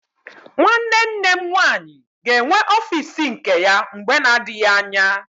Nwanne nne m nwaanyị ga-enwe ọfiisi nke ya mgbe na-adịghị anya.